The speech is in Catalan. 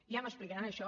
ja m’explicaran això